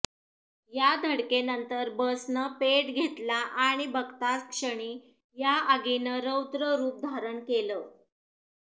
या धडकेनंतर बसनं पेट घेतला आणि बघताच क्षणी या आगीनं रौद्र रूप धारण केलं